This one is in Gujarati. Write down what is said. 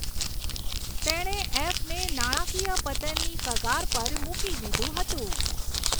તેણે એફને નાણાકીય પતનની કગાર પર મૂકી દીધું હતું.